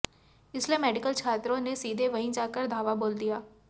इसलिए मेडिकल छात्रों ने सीधे वहीं जाकर धावा बोल दिया